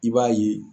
I b'a ye